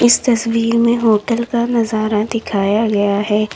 इस तस्वीर में होटल का नजारा दिखाया गया है।